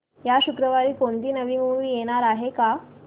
या शुक्रवारी कोणती नवी मूवी येणार आहे का